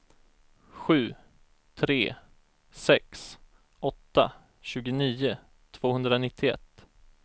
sju tre sex åtta tjugonio tvåhundranittioett